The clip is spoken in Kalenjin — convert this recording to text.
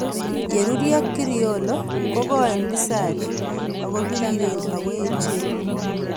Ye rurio Criollo ko koen pisalia ak ko piriren ak ko echen